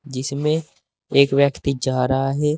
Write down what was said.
जिसमें एक व्यक्ति जा रहा है।